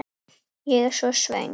Ég er svo svöng.